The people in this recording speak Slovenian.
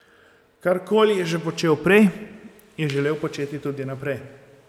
Karkoli je že počel prej, je želel početi tudi naprej.